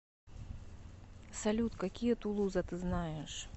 салют какие тулуза ты знаешь